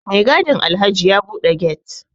Mai gadin Alhaji ya bude get